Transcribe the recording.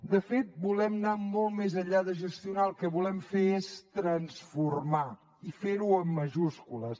de fet volem anar molt més enllà de gestionar el que volem fer és transformar i ferho amb majúscules